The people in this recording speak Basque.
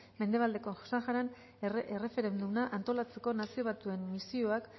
mendebaldeko saharan erreferenduma antolatzeko nazio batuen misioak